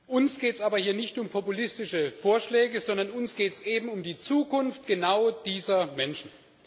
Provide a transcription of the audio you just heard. Uns geht es aber hier nicht um populistische Vorschläge, sondern uns geht es eben um die Zukunft genau dieser Menschen.